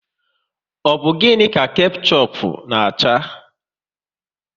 Ọ bụ gịnị ka kechup na acha?